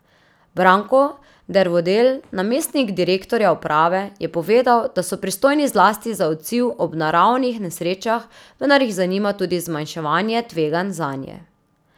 Branko Dervodel, namestnik direktorja uprave, je povedal, da so pristojni zlasti za odziv ob naravnih nesrečah, vendar jih zanima tudi zmanjševanje tveganj zanje.